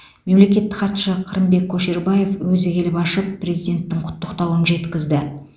мемлекеттік хатшы қырымбек көшербаев өзі келіп ашып президенттің құттықтауын жеткізді